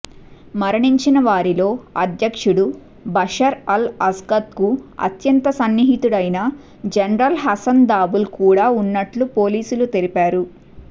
మరణించినవారిలో అధ్యక్షుడు Bashar al అసద్కు అత్యంత సన్నిహితుడైన జనరల్ హసన్ దాబూల్ కూడా ఉన్నట్లు పోలీసులు తెలిపారు